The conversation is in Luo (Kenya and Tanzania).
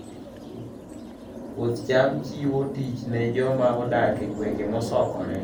Puoth cham chiwo tich ne joma odak e gwenge mosokore